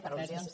per al·lusions